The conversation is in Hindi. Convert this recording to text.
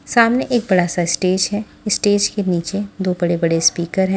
सामने एक बड़ा सा स्टेज है स्टेज के नीचे दो बड़े बड़े स्पीकर है।